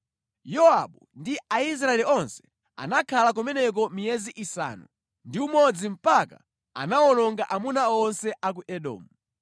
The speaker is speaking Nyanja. Yowabu ndi Aisraeli onse anakhala kumeneko miyezi isanu ndi umodzi mpaka anawononga amuna onse a ku Edomu.